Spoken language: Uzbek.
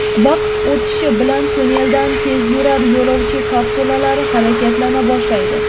Vaqt o‘tishi bilan tunneldan tezyurar yo‘lovchi kapsulalari harakatlana boshlaydi.